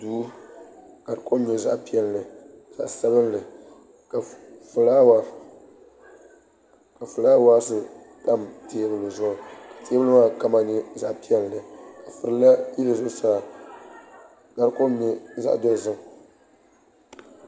Duu ka di kom nyɛ zaɣ piɛlli ni zaɣ sabinli ka fulaawaasi tam teebuli zuɣu teebuli maa kama nyɛ zaɣ piɛlli ka furila yili zuɣusaa ka di kom nyɛ zaɣ dozim